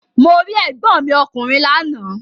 Mo rí ègbọ́n mi ọkùnrin lánàá.